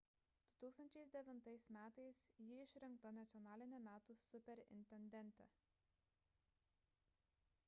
2009 m ji išrinkta nacionaline metų superintendente